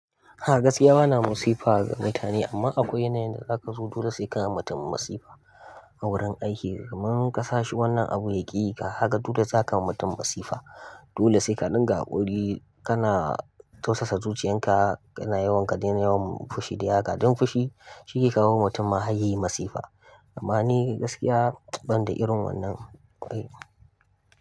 A gaskiya bana masifa ga mutane amma akwai yanayin da zaka zo dole sai ka yi wa mutum masifa a wurin aiki. Kaman kasa shi wannan abu ya ƙi yi ka, haka dole zaka yi wa mutum masifa. Dole sai ka dinga haƙuri, kana tausasa zuciyan ka, kana yawan ka daina yawan fushi dai haka. Don fushi shi yake kawo wa mutum maharyayi masifa. Amma ni gaskiya ban da irin wannan ƙwaraikuwa.